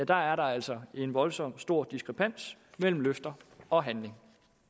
der altså en voldsom stor diskrepans mellem løfter og handling